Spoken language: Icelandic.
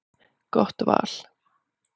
Gott val.